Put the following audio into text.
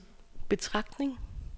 betragtning